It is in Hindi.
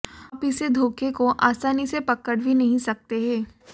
आप इसे धोखे को आसानी से पकड़ भी नहीं सकते हैं